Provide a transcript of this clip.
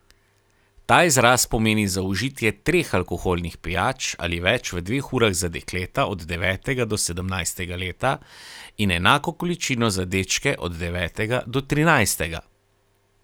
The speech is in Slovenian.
Ta izraz pomeni zaužitje treh alkoholnih pijač ali več v dveh urah za dekleta od devetega do sedemnajstega leta in enako količino za dečke od devetega do trinajstega.